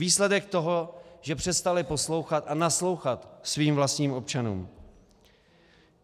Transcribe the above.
Výsledek toho, že přestali poslouchat a naslouchat svým vlastním občanům.